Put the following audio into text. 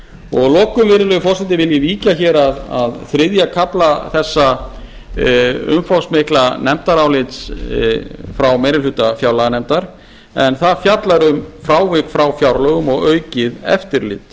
og að lokum vil ég virðulegi forseti víkja hér að þriðja kafla þessa umfangsmikla nefndarálits frá meiri hluta fjárlaganefndar en það fjallar um frávik frá fjárlögum og aukið eftirlit